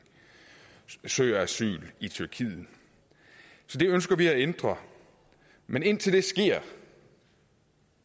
søger asyl i tyrkiet så det ønsker vi at ændre men indtil det sker